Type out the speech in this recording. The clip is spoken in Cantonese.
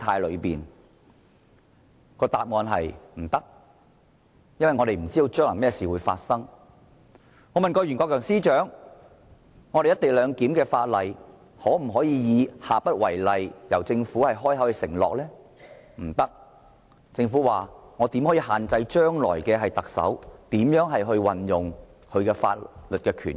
我曾經問前任律政司司長袁國強，政府可否親口承諾有關"一地兩檢"的法例的做法將下不為例，但政府說不可以，因為我們不能限制將來的特首如何運用他的法律權益。